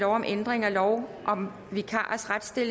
om ændringsforslag nummer